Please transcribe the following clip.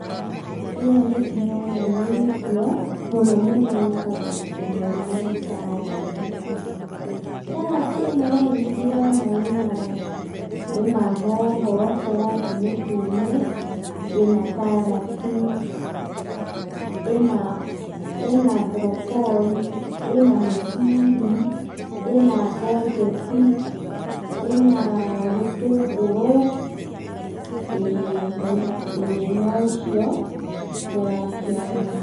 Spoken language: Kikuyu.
Ĩno nĩ ndĩrona nĩ irio mũno mũno ĩtagwo nakĩmoni moni saradi, saradi ĩno rĩ nĩndĩrona ĩna ĩna hoho cia rangĩ mũtũne, ĩna karati, ĩna ĩna bũrokori , ĩna mĩciri, ĩna ngonjeti, ĩna gĩtũngũrũ ĩĩ no icio ndĩrakĩona.